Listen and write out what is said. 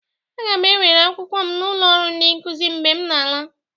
Aga m ewere akwụkwọ m n'ụlọ ọrụ Ndị nkuzi mgbe m na-ala